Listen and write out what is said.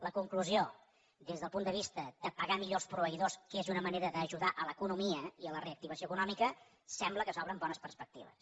la conclusió des del punt de vista de pagar millor els proveïdors que és una manera d’ajudar l’economia i la reactivació econòmica sembla que s’obren bones perspectives